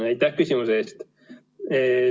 Aitäh küsimuse eest!